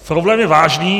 Problém je vážný.